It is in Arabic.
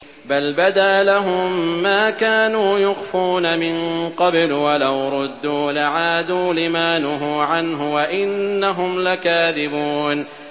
بَلْ بَدَا لَهُم مَّا كَانُوا يُخْفُونَ مِن قَبْلُ ۖ وَلَوْ رُدُّوا لَعَادُوا لِمَا نُهُوا عَنْهُ وَإِنَّهُمْ لَكَاذِبُونَ